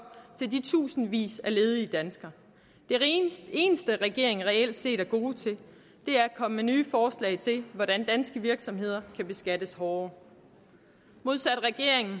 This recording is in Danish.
til de tusindvis af ledige danskere det eneste regeringen reelt set er god til er at komme med nye forslag til hvordan danske virksomheder kan beskattes hårdere modsat regeringen